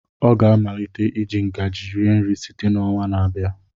Ọ ga-amalite iji ngaji rie nri site n'ọnwa na-abịa.